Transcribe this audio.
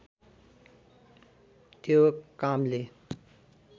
त्यो कामले